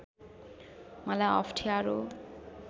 मलाई अप्ठ्यारो